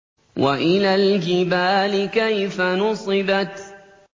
وَإِلَى الْجِبَالِ كَيْفَ نُصِبَتْ